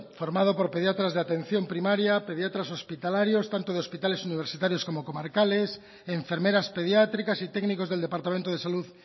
formado por pediatras de atención primaria pediatras hospitalarios tanto de hospitales universitarios como comarcales enfermeras pediátricas y técnicos del departamento de salud